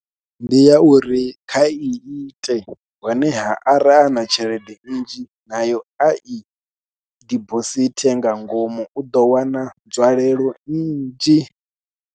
Ndi ya uri kha i ite, honeha ara ana tshelede nnzhi, nayo a i dibosithe nga ngomu, u ḓo wana nzwalelo nnzhi.